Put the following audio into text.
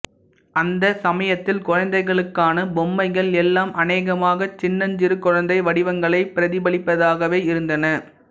அந்தச் சமயத்தில் குழந்தைகளுக்கான பொம்மைகள் எல்லாம் அநேகமாக சின்னஞ்சிறு குழந்தை வடிவங்களைப் பிரதிபலிப்பதாகவே இருந்தன